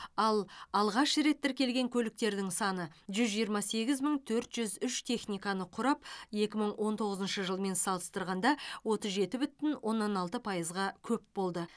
ал алғаш рет тіркелген көліктердің саны жүз жиырма сегіз мың төрт жүз үш техниканы құрап екі мың он тоғызыншы жылмен салыстырғанда отыз жеті бүтін оннан алты пайызға көп болды